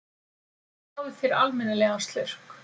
Fáðu þér almennilegan slurk!